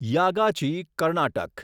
Yagachi Karnataka